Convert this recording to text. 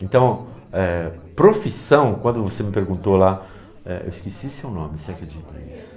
Então, eh, profissão, quando você me perguntou lá, eh eu esqueci seu nome, você acredita nisso?